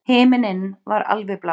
Himinninn var alveg blár.